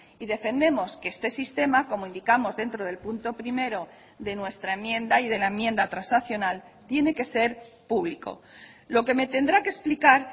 y defendemos que este sistema como indicamos dentro del punto primero de nuestra enmienda y de la enmienda transaccional tiene que ser público lo que me tendrá que explicar